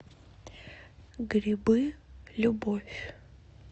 грибы любовь